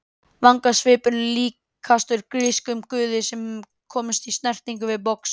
Vangasvipurinn líkastur grískum guði sem hefur komist í snertingu við box.